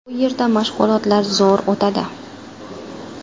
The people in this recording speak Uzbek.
Bu yerda mashg‘ulotlar zo‘r o‘tadi.